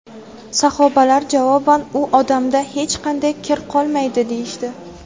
Sahobalar javoban: "U odamda hech qanday kir qolmaydi", deyishdi.